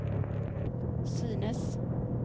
synes